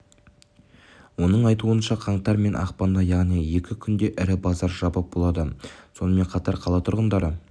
оның айтуынша қаңтар мен ақпанда яғни екі күнде ірі базар жабық болады сонымен қатар қала тұрғындары